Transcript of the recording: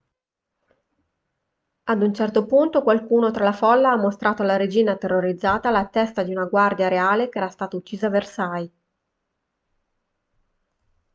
ad un certo punto qualcuno tra la folla ha mostrato alla regina terrorizzata la testa di una guardia reale che era stata uccisa a versailles